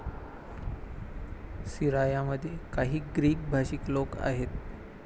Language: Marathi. सिरायामध्ये काही ग्रीक भाषिक लोक आहेत.